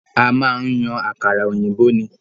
A máa ń yan àkàrà òyìnbó ní